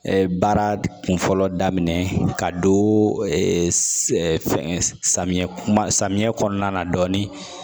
Baara kunfɔlɔ daminɛ ka don fɛngɛ samiyɛ kuma samiyɛ kɔnɔna na dɔɔnin